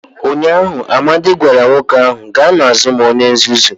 Ụnyaahụ, Amadi gwara nwoke ahụ, gaa n'azụ m onye nzuzu!